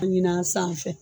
A ɲini a sanfɛ